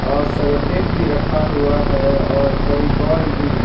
और सेरों टेप भी रखा हुआ है और फेविकोल भी।